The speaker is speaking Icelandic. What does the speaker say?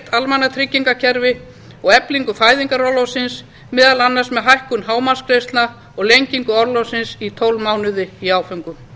almannatryggingakerfi og eflingu fæðingarorlofsins meðal annars með hækkun hámarksgreiðslna og lengingu orlofsins í tólf mánuði í áföngum